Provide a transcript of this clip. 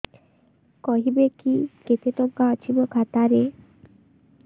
କହିବେକି କେତେ ଟଙ୍କା ଅଛି ମୋ ଖାତା ରେ